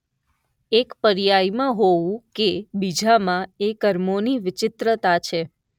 એક પર્યાય માં હોવું કે બીજા માં એ કર્મો ની વિચિત્રતા છે.